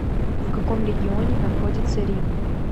в каком регионе находится рим